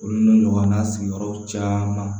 Olu n'u ɲɔgɔnna sigiyɔrɔw caman